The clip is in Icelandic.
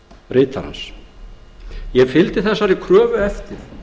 ritarans ég fylgdi þessari kröfu eftir